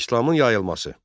İslamın yayılması.